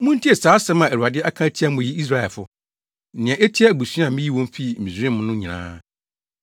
Muntie saa asɛm a Awurade aka atia mo yi, Israelfo, nea etia abusua a miyii wɔn fii Misraim no nyinaa: